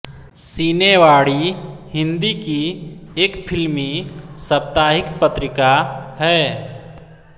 सिने वाणी हिन्दी की एक फिल्मी साप्ताहिक पत्रिका है